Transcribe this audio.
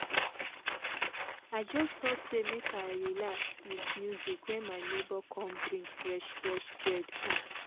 i just stop say make i relax with music when my neighbor come bring fresh fresh bread come